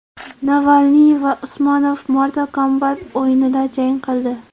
Navalniy va Usmonov Mortal Kombat o‘yinida jang qildi .